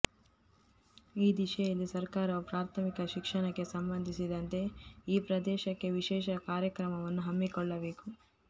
ಈ ದಿಶೆಯಲ್ಲಿ ಸರ್ಕಾರವು ಪ್ರಾಥಮಿಕ ಶಿಕ್ಷಣಕ್ಕೆ ಸಂಬಂಧಿಸಿದಂತೆ ಈ ಪ್ರದೇಶಕ್ಕೆ ವಿಶೇಷ ಕಾರ್ಯಕ್ರಮವನ್ನು ಹಮ್ಮಿಕೊಳ್ಳಬೇಕು